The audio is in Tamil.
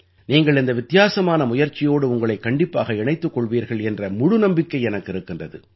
நீங்கள் இந்த வித்தியாசமான முயற்சியோடு உங்களைக் கண்டிப்பாக இணைத்துக் கொள்வீர்கள் என்ற முழு நம்பிக்கை எனக்கு இருக்கின்றது